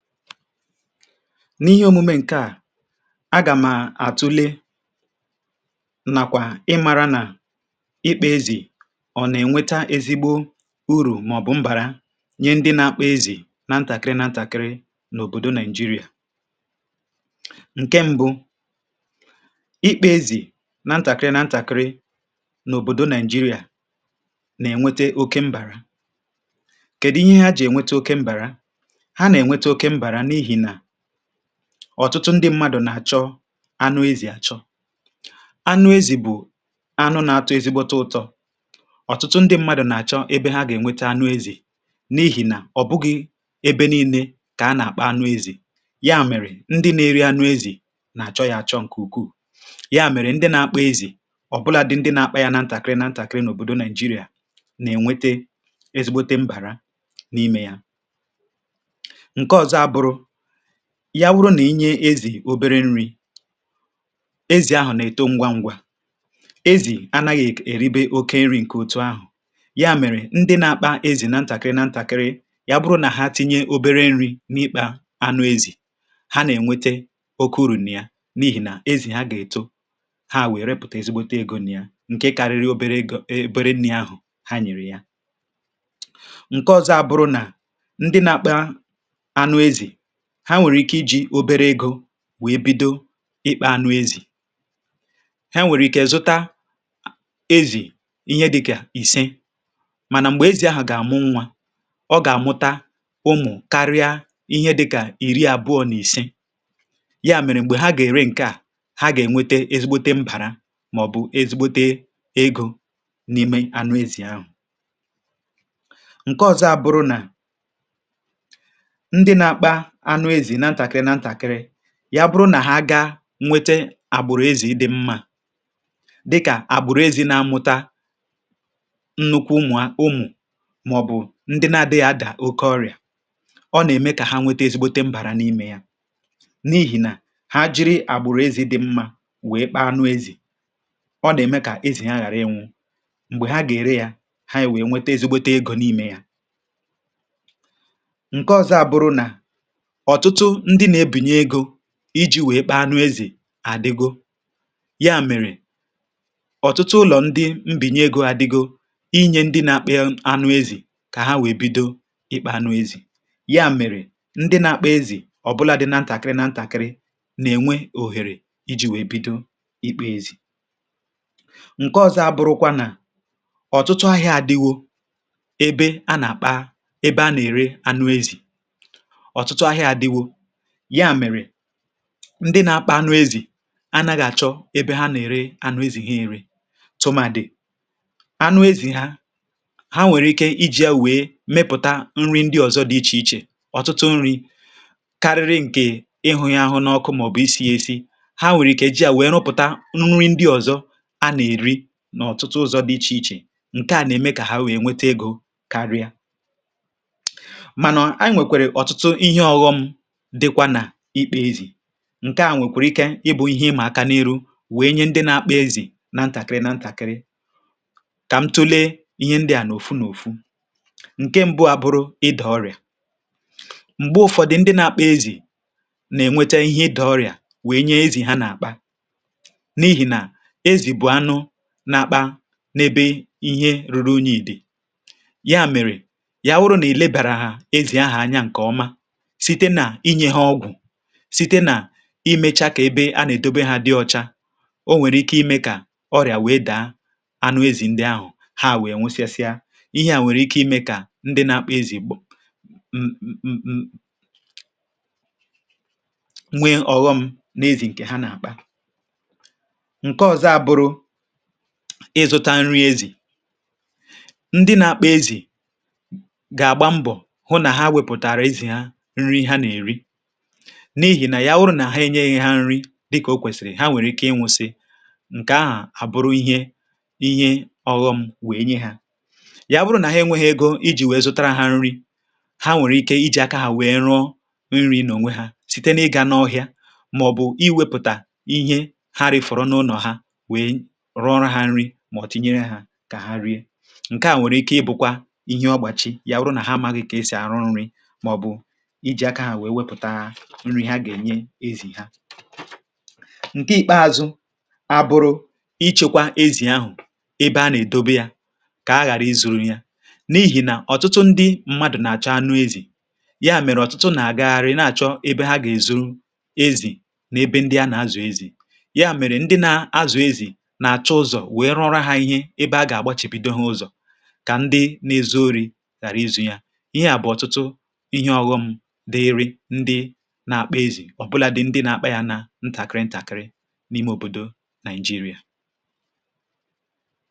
N’ihe omume ǹke a, agàm àtụle nàkwà ị mara nà ịkpȧ ezì ọ̀ nà-ènweta ezigbo urù màọ̀bụ̀ mbàra nye ndị na-akpa ezì nȧ ntàkịrị nà ntàkịrị n’òbòdo Naị̀jịrị̀a. Nke mbụ, ịkpȧ ezì nȧ ntàkịrị nȧ ntàkịrị n’òbòdo Naị̀jịrị̀a nà-ènwete oke mbàra. Kèdụ ihe ha jì ènwete oke mbàra? ha na-enweta oke mbara n'ihi na ọ̀tụtụ ndị mmadụ̀ nà-àchọ anụ ezì àchọ. Anụ ezì bụ̀ anụ n’atọ ezigbote ụtọ̇. Ọtụtụ ndị mmadụ̀ nà-àchọ ebe ha gà-ènwete anụ ezì n’ihì nà ọ̀ bụghị ebe nii̇nė kà a nà-àkpa anụ ezì ya mèrè ndị na-eri anụ ezì nà-àchọ yȧ àchọ ǹkè ukwuù, ya mèrè ndị na-akpa ezì ọ̀bụlȧdị ndị na-akpa yȧ na ntàkịrị na ntàkịrị n’òbòdo Naị̀jịrị̀a nà-ènwete ezigbote mbàra n’imė ya. Nke ọzọ abụrụ, ya bụrụ nà i nye ezì obere nri̇, ezì ahụ̀ na-èto ngwa ngwa. Ezì anaghị̀ èribe oke nri̇ ǹke òtù ahụ̀, ya mèrè ndị na-akpa ezì na ntàkịrị na ntàkịrị, ya bụrụ nà ha tinye obere nri̇ n’ịkpȧ anụ ezì, ha nà-ènwete oke urù nà ya n’ihì nà ezì ha gà-èto ha ewère repụta ezigbote egȯ nịa ǹkè karịrị obere egȯ obere nni̇ ahụ̀ ha nyèrè ya. Nke ọ̀zọ abụrụ nà ndị na-akpa anụ ezi, ha nwèrè ike iji̇ obere egȯ wèe bido ịkpȧ anụ ezì. Ha nwèrè ike zụta ezì ihe dịkà ìse mànà m̀gbè ezì ahụ̀ gà-àmụ nwȧ, ọ gà-àmụta ụmụ̀ karịa ihe dịkà ìri àbụọ n’ìse. Ya mèrè m̀gbè ha gà-ère ǹke à, ha gà-ènwete ezigbote mbàra mà ọ̀ bụ̀ ezigbote egȯ n’ime anụ ezì ahụ̀. Nke ọ̀zọ à bụrụ nà anụ ezì na ntàkịrị na ntàkịrị, ya bụrụ nà ha gaa nwete àgbụ̀rụ̀ ezì dị̇ mmȧ dịkà àgbụ̀rụ̀ ezi na-amụta nnukwu ụmụ̀ a ụmụ̀ màọ̀bụ̀ ndị na-adịghị adà oke ọrị̀à, ọ nà-ème kà ha nwete ezigbote mbàra n’imė ya n’ihì nà ha jiri àgbụ̀rụ̀ ezì dị̇ mmȧ wèe kpaa anụ ezì, ọ nà-ème kà ezì ha ghàra ịnwụ̇ m̀gbè ha gà-ère ya ha ewèe nwete ezigbote egȯ n’imė ya. Nke ọ̀zọ àbụrụ nà ọtụtụ ndị na-ebinye ego iji̇ wèe kpa anụ ezì àdịgo, ya mèrè, ọ̀tụtụ ụlọ̀ ndị mbìnye egȯ adịgo inyė ndị na-akpà anụ ezì kà ha wèe bido ịkpȧ anụ ezì. Ya mèrè ndị na-akpà anụ ezì ọ̀bụlȧdị na ntàkịrị na ntàkịrị nà-ènwe òhèrè iji̇ wèe bido ịkpȧ ezì. Nke ọ̇zọ̇ abụrụkwa nà ọ̀tụtụ ahịa adịwo ebe a nà-àkpa ebe a nà-ère anụ ezì, ya mere ndị na-akpa anụ ezì anaghà-àchọ ebe ha nà-ère anụ ezì ha ere tụmadị anụ ezì ha ha nwèrè ike iji̇ ya wee mepụ̀ta nri ndị ọzọ dị ichè ichè ọ̀tụtụ nri̇ karịrị ǹkè ịhụ̇ ya ahụ n’ọkụ màọ̀bụ̀ isi̇ ya esi. Ha nwèrè ike iji̇ yà wèe rụpụ̀ta nri ndị ọzọ a nà-èri n’ọ̀tụtụ ụzọ dị ichè ichè. Nke à nà-ème kà ha nwèe nwete egȯ karịa. Mana e nwekwara ọtụtụ ihe ọghọm dịkwa nà ịkpa ezì. Nkè à nwèkwèrè ike ịbụ̇ ihe ịmà aka n’iru wèe nye ndị na-akpa ezì na ntàkịrị na ntàkịrị, kà m tụlee ihe ndị à nà òfu n’òfu. Nkè mbụ abụrụ ịdọ̇ ọrị̀à. Mgbè ụ̀fọdụ ndị na-akpa ezì nà-ènwete ihe ịdọ̇ ọrị̀à wèe nye ezì ha nà-àkpa n’ihì nà ezì bụ̀ anụ n’akpȧ n’ebe ihe ruru unyi̇ dị̀. Ya mèrè, yà wụrụ nà i lebàràhà ezì ahà anya ǹkè ọma site na inye ha ọgwụ, site nà i mechaa kà ebe a nà-èdobe hȧ dị ọcha, o nwèrè ike imė kà ọrịà wee dàa anụ ezì ǹdị ahụ̀, ha à wèe nwụsịsịa. Ihe à nwèrè ike imė kà ndị nȧ-akpa ezì gba [um̀] nwee ọ̀ghọm n’ezì ǹkè ha nà-àkpa. Nke ọ̀zọ a bụrụ ịzụta nri ezì. Ndị nȧ-akpa ezì gà-àgba mbọ̀ hụ nà ha wepụ̀taàrà ezì ha nri ha na-eri n’ihì nà yawụrụ nà ha enyee yȧ nri dịkà o kwèsịrị, ha nwèrè ike ịnwụ̇sị̀ ǹkè ahà àbụrụ ihe ihe ọ̇ghọ̇ m wèe nye ha. Yawụrụ nà ahụhị ego iji wee zụtara ha nri, ha nwèrè ike iji̇ aka hà wèe rụọ nrì nonwe ha site n’ịgà n’ọhịȧ mà ọ̀ bụ̀ iwėpụtà ihe ha rìfọrọ n’ụlọ̀ ha wèe rụọrọ ha nri mà ọ̀ tìnyere hȧ kà ha rie. Nkè hà nwèrè ike ịbụ̇kwa ihe ọgbàchi yawụrụ nà ha amaghị̇ kà e sì àrụ nri maọbụ iji aka ha wee wepụta ihe ha ga-enye ezi ha. Nke ikpeazụ̇ abụrụ̇ ichekwa ezì ahụ̀ ebe a nà-èdobe yȧ kà a ghàra izu̇ru̇ ya n’ihì nà ọ̀tụtụ ndị mmadụ̀ nà-àchọ anụ ezì ya mèrè ọ̀tụtụ nà-àgagharị na-àchọ ebe ha gà-èzuru ezì n’ebe ndị anà-azụ̀ ezì. Yà mèrè ndị na-azụ̀ ezì nà-àchọ ụzọ̀ wèe rụọra ha ihe ebe a gà-àgbachìbìdo ha ụzọ̀ kà ndị na-ezu ori̇ ghàra izu̇ru yȧ. Ihe à bụ̀ ọ̀tụtụ ihe ọghọṁ dịịrị̇ na-akpà ezi ọbụladị ndị na-akpa yà na ntàkịrị̀ ntàkịrị̀ n’ime òbòdò Naị̀jịrị̀a.